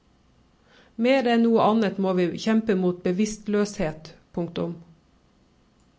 Mer enn noe annet må vi kjempe mot bevisstløshet. punktum